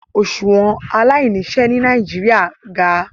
Oṣuwọn alainiṣẹ ni Nigeria ga